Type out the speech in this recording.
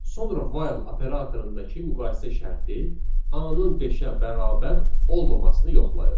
Sonra while operatorundakı müqayisə şərti A-nın beşə bərabər olmamasını yoxlayır.